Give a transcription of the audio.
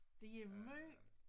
De er måj